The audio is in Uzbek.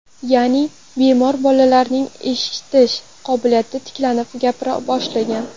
Ya’ni, bemor bolalarning eshitish qobiliyati tiklanib, gapira boshlagan.